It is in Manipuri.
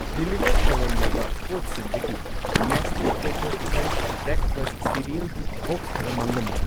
ꯗꯤꯂꯤꯚꯔ ꯇꯧꯔꯝꯂꯕ ꯄꯣꯠꯁꯤꯡꯗꯒꯤ ꯅꯦꯁꯂꯦ ꯀꯣꯀꯣ ꯀ꯭ꯔꯟꯆ ꯕ꯭ꯔꯦꯛꯐꯥꯁꯠ ꯁꯤꯔꯤꯑꯜꯒꯤ ꯕꯣꯛꯁ ꯈꯔ ꯃꯥꯡꯂꯝꯂꯦ꯫